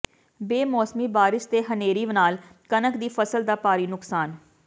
ਬੇਮੌਸਮੀ ਬਾਰਿਸ਼ ਤੇ ਹਨ੍ਹੇਰੀ ਨਾਲ ਕਣਕ ਦੀ ਫਸਲ ਦਾ ਭਾਰੀ ਨੁਕਸਾਨ